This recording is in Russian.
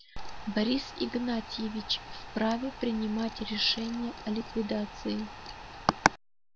борис игнатьевич вправе принимать решения о ликвидации